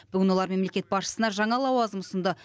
бүгін олар мемлекет басшысына жаңа лауазым ұсынды